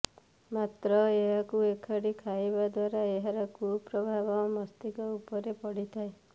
ମାତ୍ର ଏହାକୁ ଏକାଠି ଖାଇବା ଦ୍ୱାରା ଏହାର କୁପ୍ରଭାବ ମସ୍ତିକ ଉପରେ ପଡ଼ିଥାଏ